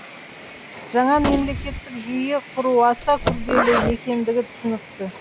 жаңа мемлекеттік жүйе құру аса күрделі екендігі түсінікті